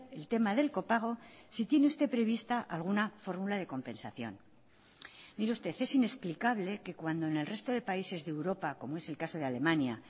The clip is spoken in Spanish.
el tema del copago si tiene usted prevista alguna fórmula de compensación mire usted es inexplicable que cuando en el resto de países de europa como es el caso de alemania